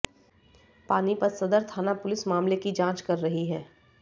पानीपत सदर थाना पुलिस मामले की जांच कर रही है